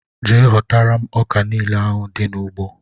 Jee hotara mụ ọkà niile ahụ dị na ụgbọ!!!!